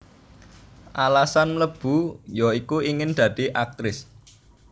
Alasan mlebu ya iku ingin dadi Aktris